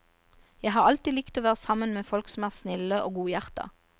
Jeg har alltid likt å være sammen med folk som er snille og godhjerta.